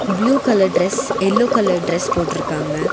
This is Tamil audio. Blue colour dress yellow colour dress போட்ருக்காங்க.